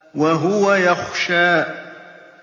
وَهُوَ يَخْشَىٰ